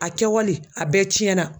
A kɛwale a bɛɛ tiɲɛna